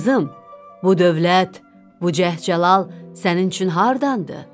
Qızım, bu dövlət, bu cəhcəlal sənin üçün hardandır?